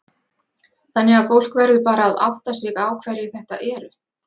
Þannig að fólk verður bara að átta sig á hverjir þetta eru?